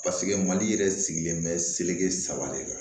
mali yɛrɛ sigilen bɛ seleke saba de la